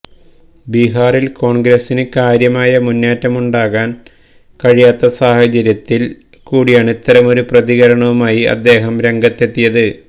ബിഹാറില് കോണ്ഗ്രസിന് കാര്യമായ മുന്നേറ്റമുണ്ടാക്കാന് കഴിയാത്ത സാഹചര്യത്തില് കൂടിയാണ് ഇത്തരമൊരു പ്രതികരണവുമായി അദ്ദേഹം രംഗത്തെത്തിയത്